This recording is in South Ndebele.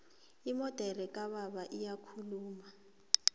imodere kababa iyakhuluma